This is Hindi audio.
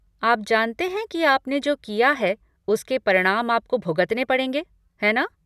आप जानते हैं कि आपने जो किया है उसके परिणाम आपको भुगतने पड़ेंगे, है ना?